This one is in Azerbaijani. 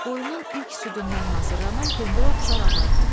qoyunun ilk südündən hazırlanan pendirə oxşar ağartı.